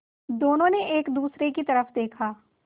दोनों ने एक दूसरे की तरफ़ देखा